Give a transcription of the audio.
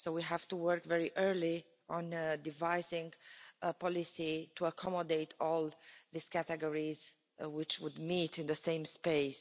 So we have to work very early on devising a policy to accommodate all these categories which would meet in the same space.